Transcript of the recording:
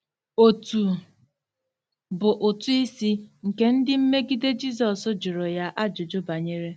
Otu bụ “ụtụ isi” nke ndị mmegide Jizọs jụrụ ya ajụjụ banyere..